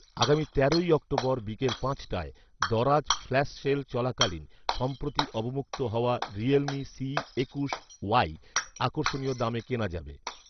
আগামী তেরোই অক্টোবর বিকাল পাঁচটায় দারাজ ফ্ল্যাশসেল চলাকালীন সম্প্রতি অবমুক্ত হওয়া রিয়েলমি সি একুশ ওয়াই আকর্ষণীয় দামে কেনা যাবে